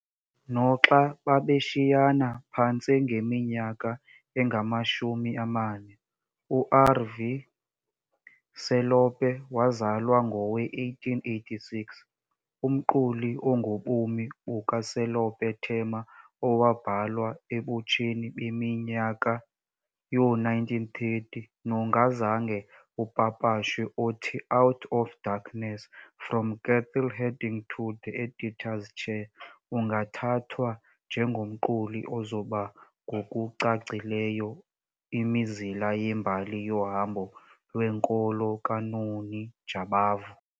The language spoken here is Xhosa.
Noxa babeshiyana phantse ngeminyaka engamashumi amane, uR.V. Selope wazalwa ngowe-1886, umquli ongobomi bukaSelope Thema owabhalwa ebutsheni beminyaka yoo-1930 nongazange upapashwe othi, Out of Darkness, From Cattle-Herding to the Editor's Chair ungathathwa njengomquli ozoba ngokucacileyo imizila yembali yohambo lwenkolo kaNoni Jabavu.